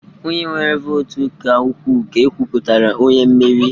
Onye nwere votu ka ukwuu, ka ekwuputara onye mmeri